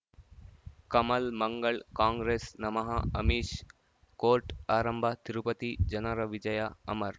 ಕಮಲ್ ಮಂಗಳ್ ಕಾಂಗ್ರೆಸ್ ನಮಃ ಅಮಿಷ್ ಕೋರ್ಟ್ ಆರಂಭ ತಿರುಪತಿ ಜನರ ವಿಜಯ ಅಮರ್